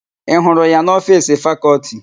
Ị hụrụ ya n'ofiisi Fakọlti?